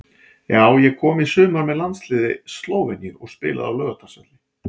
Já ég kom í sumar með landsliði Slóveníu og spilaði á Laugardalsvelli.